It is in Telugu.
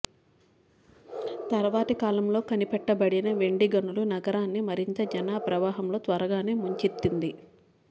తర్వాతి కాలంలో కనిపెట్టబడిన వెండి గనులు నగరాన్ని మరింత జనప్రవాహంలో త్వరగానే ముంచెత్తింది